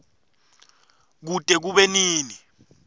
kute kube nini